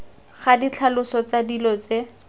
ga ditlhaloso tsa dilo tse